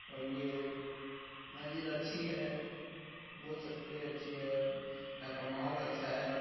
और ये मस्जिद अच्छी है बोल सकते हैं अच्छी है। यहां का माहौल अच्छा है।